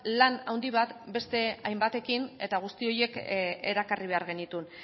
lan handi bat beste hainbatekin eta guzti horiek erakarri behar genituen